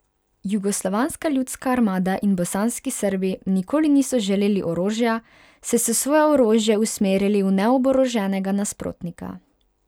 Jugoslovanska ljudska armada in bosanski Srbi nikoli niso želeli orožja, saj so svoje orožje usmerili v neoboroženega nasprotnika.